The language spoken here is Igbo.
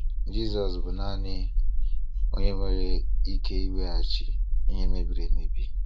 Jesus bụ naanị onye nwere ike iweghachi ihe mebiri emebi.